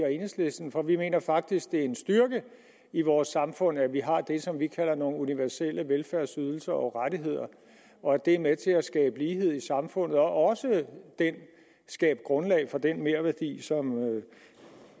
og enhedslisten for vi mener faktisk at det er en styrke i vores samfund at vi har det som vi kalder nogle universelle velfærdsydelser og rettigheder og at det er med til at skabe lighed i samfundet og også skabe grundlag for den merværdi som